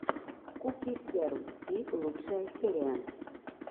куки сверл си лучшая серия